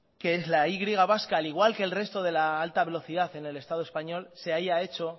que la y vasca al igual que el resto de la alta velocidad en el estado español se haya hecho